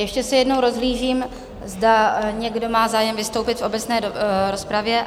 Ještě se jednou rozhlížím, zda někdo má zájem vystoupit v obecné rozpravě?